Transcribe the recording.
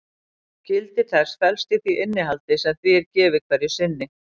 Gildi þess felst í því innihaldi sem því er gefið hverju sinni.